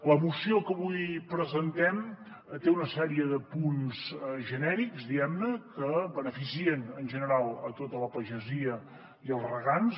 la moció que avui presentem té una sèrie de punts genèrics diguem ne que beneficien en general tota la pagesia i els regants